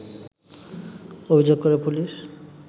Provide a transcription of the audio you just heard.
অভিযোগ করে পুলিশ